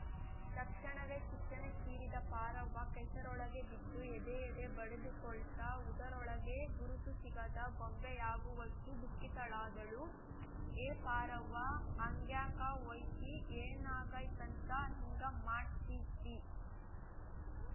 ತಕ್ಷಣವೇ ಚಿಟ್ಟನೇ ಚೀರಿದ ಪಾರವ್ವ ಕೆಸರೊಳಗೆ ಬಿದ್ದು ಎದೆ ಎದೇ ಬಡಿದುಕೊಳ್ತಾ ಹುದಲೊಳಗೆ ಗುರುತು ಸಿಗದ ಗೊಂಬೆಯಾಗುವಷ್ಟುದುಃಖತಳಾದಳು ಹೇ ಪಾರವ್ವ ಹಂಗ್ಯಾಕೆ ಹೊಯ್ತಿ ಏನಾಗೈತಂತ ಹಿಂಗ ಮಾಡ್ತಿದಿ